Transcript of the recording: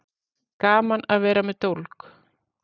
Gaman að vera með dólg